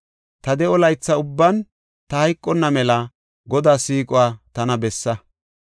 Ta de7o laytha ubban ta hayqonna mela Godaa siiquwa tana bessa.